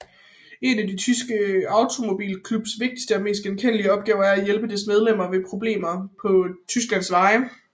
En af den tyske automobilklubs vigtigste og mest velkendte opgaver er at hjælpe dens medlemmer ved problemer på Tysklands veje